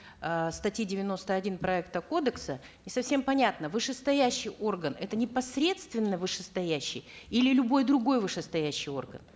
э статьи девяносто один проекта кодекса не совсем понятно вышестоящий орган это непосредственно вышестоящий или любой другой вышестоящий орган